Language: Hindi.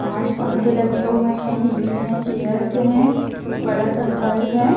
पांच पंखे लगे हुए हैं टी_वी है चेयर्स हैं एक बड़ा सा घर है।